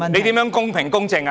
他如何公平、公正？